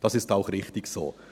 Das ist auch richtig so.